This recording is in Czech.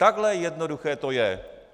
Takhle jednoduché to je.